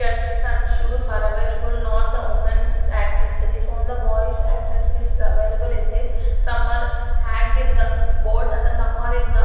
here some shoes are available not the women accessories only boys accessories available in this some are hanged in the board and some are in the --